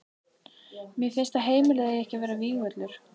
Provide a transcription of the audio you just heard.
Mér finnst að heimilið eigi ekki að vera vígvöllur.